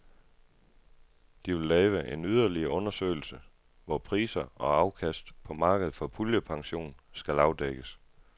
De vil lave en yderligere undersøgelse, hvor priser og afkast på markedet for puljepension skal afdækkes.